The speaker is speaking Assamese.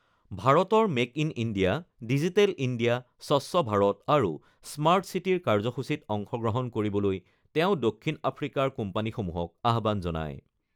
ভাৰতৰ make in India, digital India, স্বচ্ছ ভাৰত আৰু স্মাৰ্ট ছিটিৰ কাৰ্যসূচীত অংশগ্ৰহণ কৰিবলৈ তেওঁ দক্ষিণ আফ্ৰিকাৰ কোম্পানীসমূহক আহ্বান জনায়।